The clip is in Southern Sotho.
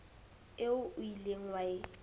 eo o ileng wa e